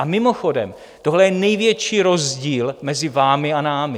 A mimochodem tohle je největší rozdíl mezi vámi a námi.